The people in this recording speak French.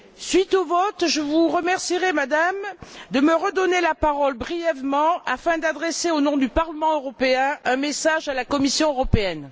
Suite au vote, je vous remercierais, Madame, de me redonner la parole brièvement afin d'adresser au nom du Parlement européen un message à la Commission européenne.